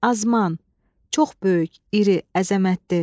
Azman, çox böyük, iri, əzəmətli.